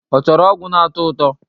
Ọ chọrọ ọgwụ na-atọ ụtọ?